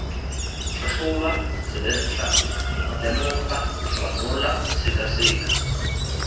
tlhatlhoba tsebentlha lemoga ranola sekaseka